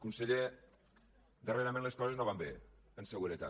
conseller darrerament les coses no van bé en seguretat